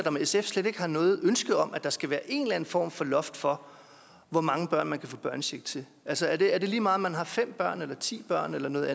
om sf slet ikke har noget ønske om at der skal være en form for loft for hvor mange børn man kan få børnecheck til altså er det er det lige meget om man har fem børn eller ti børn eller noget